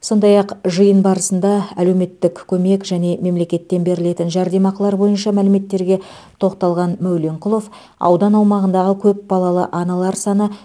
сондай ақ жиын барысында әлеуметтік көмек және мемлекеттен берілетін жәрдемақылар бойынша мәліметтерге тоқталған мәуленқұлов аудан аумағында көпбалалы аналар саны